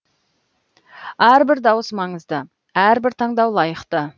әрбір дауыс маңызды әрбір таңдау лайықты